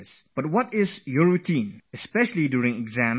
But one thing is for sure, especially during the days when examinations are held